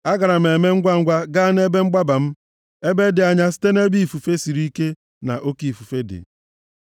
Agaara m eme ngwangwa gaa nʼebe mgbaba m, ebe dị anya site nʼebe ifufe siri ike na oke ifufe dị.”